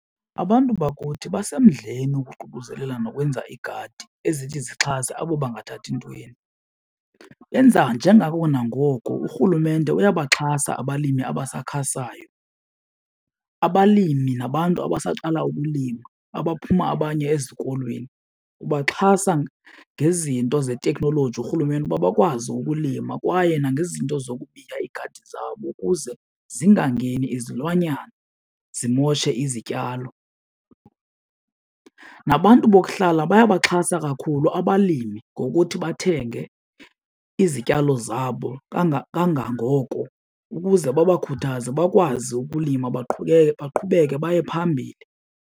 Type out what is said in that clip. Abantu bakuthi basemdleni ukuququzelela nokwenza iigadi ezithi zixhase abo bangathathi ntweni, benza njengako nangoko. Urhulumente uyabaxhasa abalimi abasakhasayo, abalimi nabantu abasaqala ukulima abaphuma abanye ezikolweni ubaxhasa ngezinto zeteknoloji urhulumente ukuba bakwazi ukulima. Kwaye nangezinto zokubiya iigadi zabo ukuze zingangeni izilwanyana zimoshe izityalo. Nabantu bokuhlala bayabaxhasa kakhulu abalimi ngokuthi bathenge izityalo zabo kangangoko ukuze babakhuthaze bakwazi ukulima baqhubeke baye phambili.